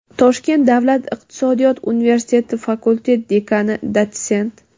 Toshkent davlat iqtisodiyot universiteti fakultet dekani, dotsent;.